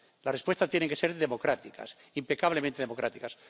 Las respuestas tienen que ser democráticas, impecablemente democráticas.